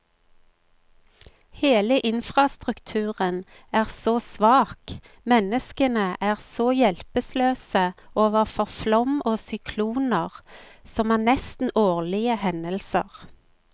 Hele infrastrukturen er så svak, menneskene er så hjelpeløse overfor flom og sykloner, som er nesten årlige hendelser.